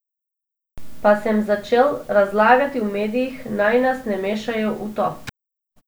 Pa sem začel razlagati v medijih, naj nas ne mešajo v to.